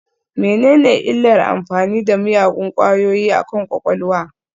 Menene illar amfani da miyagun ƙwayoyi akan kwakwalwa?